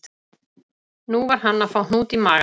Nú var hann að fá hnút í magann